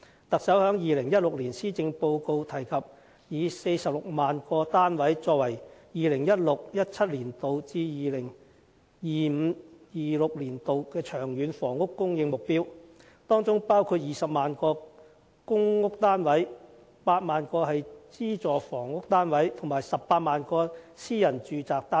特首於2016年施政報告提及以46萬個單位作為 2016-2017 年度至 2025-2026 年度的長遠房屋供應目標，當中包括20萬個公共租住房屋單位、8萬個資助房屋單位及18萬個私人住宅單位。